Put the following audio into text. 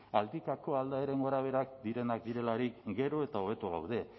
aldikako aldaeren gorabeherak direnak direlarik gero eta hobeto gaude